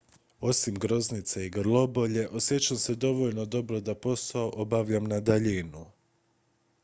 osim groznice i grlobolje osjećam se dovoljno dobro da posao obavljam na daljinu